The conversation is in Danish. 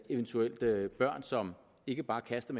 eventuelt være børn som ikke bare kaster